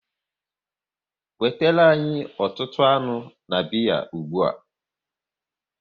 Wetere anyị ọtụtụ anụ na biya ụgbụa!